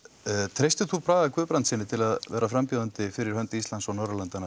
treystir þú Braga Guðbrandssyni til að vera frambjóðandi fyrir hönd Íslands og Norðurlandanna